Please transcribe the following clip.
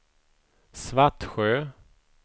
Svartsjö